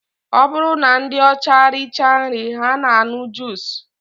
Ọ bụrụ na ndị ọcha richaa nri ha na-aṅụ juus